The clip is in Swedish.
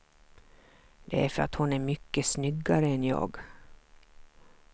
Det är för att hon är mycket snyggare än jag.